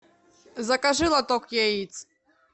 закажи лоток яиц